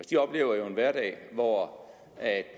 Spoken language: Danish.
de oplever jo en hverdag hvor